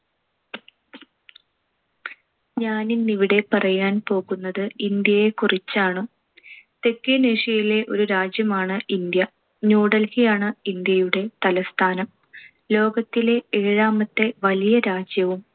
ഞാൻ ഇന്നിവിടെ പറയാൻ പോകുന്നത് ഇന്ത്യയെകുറിച്ചാണ്. തെക്കനേഷ്യയിലെ ഒരു രാജ്യമാണ് ഇന്ത്യ. ന്യൂഡൽഹിയാണ്‌ ഇന്ത്യയുടെ തലസ്ഥാനം. ലോകത്തിലെ ഏഴാമത്തെ വലിയ രാജ്യവും